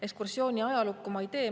Ekskursiooni ajalukku ma ei tee.